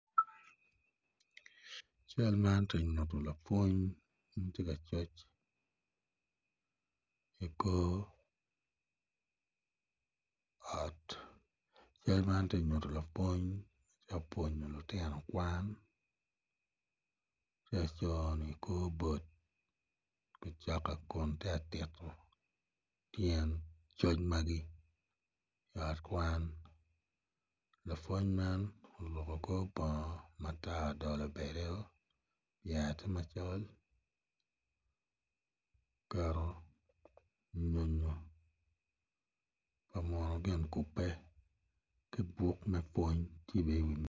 Cal man tye ka nyuto lapwony ma tye ka coc i kor ot. cal man tye ka nyuto lapwony ma tye ka pwonyo lutino kwan tye ka cono i kor board kun tye ka tito tyen coc magi i ot kwan lapwony man oruko kor bongo matar odolo badeo iye tye macol oketo nyonyo pa muno gin kubbe ki buk me pwony.